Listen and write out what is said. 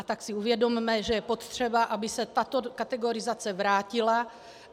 A tak si uvědomme, že je potřeba, aby se tato kategorizace vrátila.